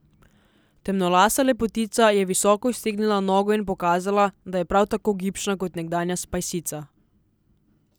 Temnolasa lepotica je visoko iztegnila nogo in pokazala, da je prav tako gibčna kot nekdanja spajsica.